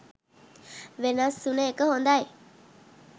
වෙනස් වුන එක හොඳයි.